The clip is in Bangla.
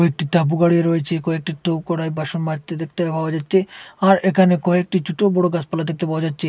এটি টাবু গাড়ি রয়েছে কয়েকটি টউ কড়ায় বাসন মাজটে ডেকতে পাওয়া যাচ্চে আর এখানে কয়টি চুট বড় গাসপালা দেখতে পাওয়া যাচ্চে।